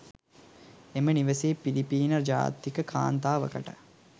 එම නිවසේ පිලිපින ජාතික කාන්තාවකට